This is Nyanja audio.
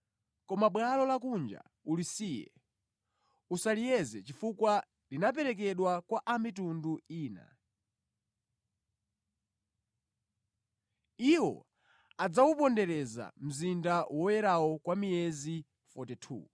Koma bwalo lakunja ulisiye, usaliyeze chifukwa linaperekedwa kwa a mitundu ina. Iwo adzawupondereza mzinda woyerawo kwa miyezi 42.